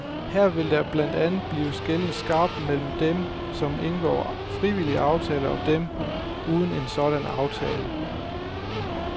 Her vil der blandt andet blive skelnet skarpt mellem dem, som indgår frivillige aftaler og dem uden en sådan aftale.